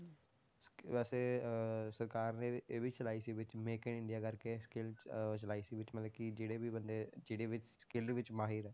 ਵੈਸੇ ਅਹ ਸਰਕਾਰ ਨੇ ਇਹ ਵੀ ਚਲਾਈ ਸੀ ਵਿੱਚ make in ਇੰਡੀਆ ਕਰਕੇ skill ਅਹ ਚਲਾਈ ਸੀ ਵਿੱਚ ਮਤਲਬ ਕਿ ਜਿਹੜੇ ਵੀ ਬੰਦੇ ਜਿਹੜੇ ਵੀ skill ਵਿੱਚ ਮਾਹਿਰ ਹੈ